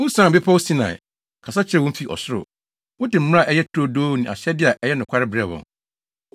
“Wusian bepɔw Sinai, kasa kyerɛɛ wɔn fi ɔsoro. Wode mmara a ɛyɛ turodoo ne ahyɛde a ɛyɛ nokware brɛɛ wɔn.